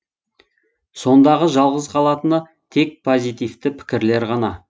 сондағы жалғыз қалатыны тек позитивті пікірлер ғана